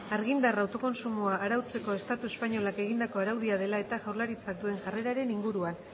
argindar autokontsumoa arautzeko estatu espainolak egindako araudia dela eta jaurlaritzak duen jarreraren inguruan